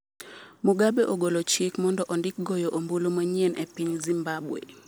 Mugabe ogolo chik mondo ondik goyo ombulu manyien e piny Zimbabwe